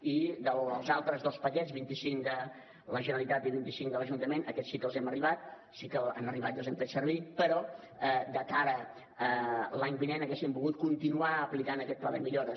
i els altres dos paquets vint cinc de la generalitat i vint cinc de l’ajuntament aquests sí que han arribat i els hem fet servir però de cara a l’any vinent haguéssim volgut continuar aquest pla de millores